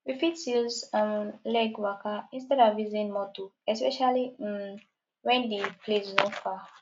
we fit use um leg waka instead of using motor especially um when di place no far